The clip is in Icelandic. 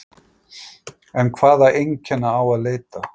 En hvaða einkenna á að leita?